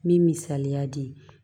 N bɛ misaliya di